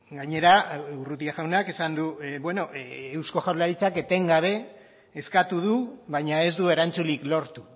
gainera urrutia jaunak esan du eusko jaurlaritzak etengabe eskatu du baina ez du erantzunik lortu